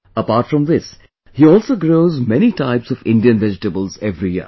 Apart from this, he also grows many types of Indian vegetables every year